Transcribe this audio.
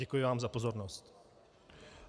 Děkuji vám za pozornost.